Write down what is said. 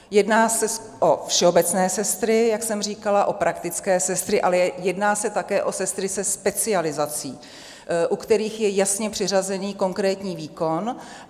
Jedná se o všeobecné sestry, jak jsem říkala, o praktické sestry, ale jedná se také o sestry se specializací, u kterých je jasně přiřazený konkrétní výkon.